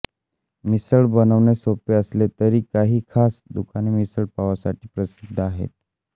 मिसळ बनवणे सोपे असले तरी काही खास दुकाने मिसळपावासाठी प्रसिद्ध आहेत